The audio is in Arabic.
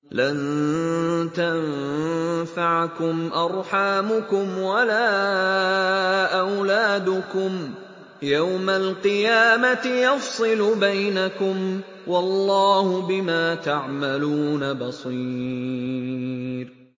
لَن تَنفَعَكُمْ أَرْحَامُكُمْ وَلَا أَوْلَادُكُمْ ۚ يَوْمَ الْقِيَامَةِ يَفْصِلُ بَيْنَكُمْ ۚ وَاللَّهُ بِمَا تَعْمَلُونَ بَصِيرٌ